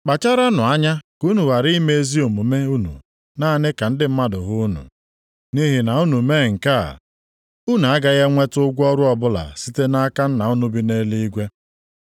“Kpacharanụ anya ka unu ghara ime ezi omume unu naanị ka ndị mmadụ hụ unu. Nʼihi na unu mee nke a, unu agaghị enweta ụgwọ ọrụ ọbụla site nʼaka Nna unu bi nʼeluigwe.